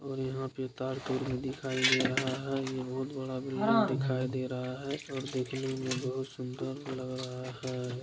और यहाँ पे तार दिखाई दे रहा है ये रोड बड़ा दिखाई दे रहा है और देखने में बहोत सुंदर लग रहा है।